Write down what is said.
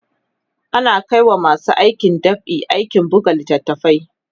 ana Kai wa masu aikin dab'i aikin buga littatafai